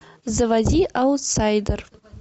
заводи аутсайдер